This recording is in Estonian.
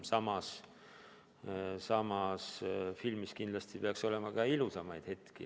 Samas, filmis peaks kindlasti olema ka ilusamaid hetki.